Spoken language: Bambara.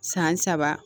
San saba